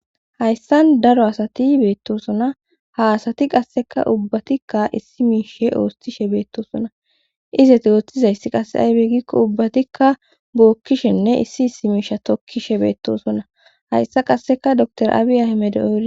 Hayssan daro asati beettosona ha asati qasseka ubbatikka issi miishe oostishe beettosona izet ooththizayssi qasse aybe gikko ubbatikka bookkishenne issi issi miisha tokkishe beettosonna hayssa qasseka dor aabiya himede oori